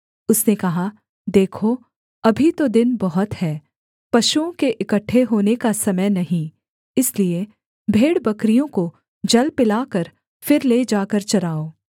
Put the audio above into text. उसने कहा देखो अभी तो दिन बहुत है पशुओं के इकट्ठे होने का समय नहीं इसलिए भेड़बकरियों को जल पिलाकर फिर ले जाकर चराओ